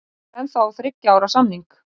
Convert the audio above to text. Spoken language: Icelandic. Ég er ennþá á þriggja ára samning.